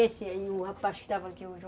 Esse aí, o rapaz que estava aqui